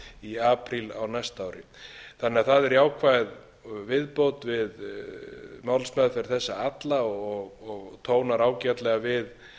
í apríl á næsta ári þannig að það er jákvæð viðbót við málsmeðferð þessa alla og tónar ágætlega við